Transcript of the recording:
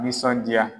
Nisɔndiya